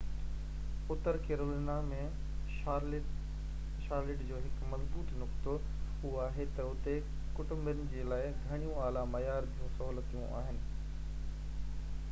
Uttar Carolina ۾ Charlotte جو هڪ مضبوط نقطو، اهو آهي تہ اتي ڪٽنبن جي لاءِ گهڻيون اعليٰ معيار جون سهولتون آهن